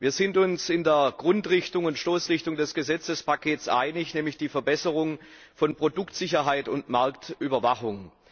Wir sind uns in der Grundrichtung und Stoßrichtung des Gesetzespakets einig, nämlich der Verbesserung von Produktsicherheit und Marktüberwachung.